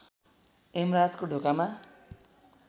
यमराजको ढोकामा